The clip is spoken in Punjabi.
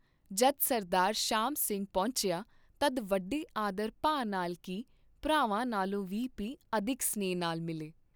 ਜਦ ਸਰਦਾਰ ਸ਼ਾਮ ਸਿੰਘ ਪਹੁੰਚਿਆ, ਤਦ ਵੱਡੇ ਆਦਰ ਭਾ ਨਾਲ ਕੀ, ਭਰਾਵਾਂ ਨਾਲੋਂ ਵੀ ਭੀ ਅਧਿਕ ਸਨੇਹ ਨਾਲ ਮਿਲੇ।